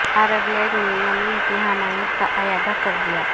عرب League نے Yemen کی حمایت کا اعادہ کردیا